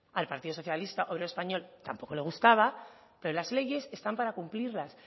al partido socialista obrero español tampoco le gustaba pero las leyes están para cumplirla